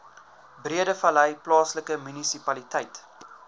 breedevallei plaaslike munisipaliteit